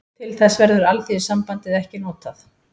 Til þess verður Alþýðusambandið ekki notað